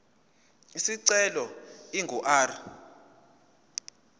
isicelo ingu r